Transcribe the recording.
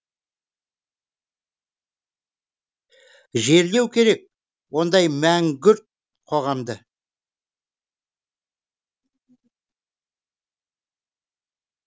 жерлеу керек ондай мәңгүрт қоғамды